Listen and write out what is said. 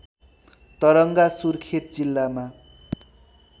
तरङ्गा सुर्खेत जिल्लामा